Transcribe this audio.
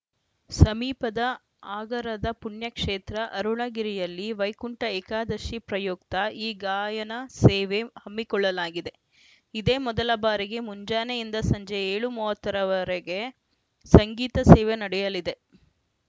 ಸಮೀಪದ ಆರಗದ ಪುಣ್ಯಕ್ಷೇತ್ರ ಅರುಣಗಿರಿಯಲ್ಲಿ ವೈಕುಂಠ ಏಕಾದಶಿ ಪ್ರಯುಕ್ತ ಈ ಗಾಯನ ಸೇವೆ ಹಮ್ಮಿಕೊಳ್ಳಲಾಗಿದೆ ಇದೇ ಮೊದಲ ಬಾರಿಗೆ ಮುಂಜಾನೆಯಿಂದ ಸಂಜೆ ಏಳು ಮೂವತ್ತ ರ ವರೆಗೆ ಸಂಗೀತ ಸೇವೆ ನಡೆಯಲಿದೆ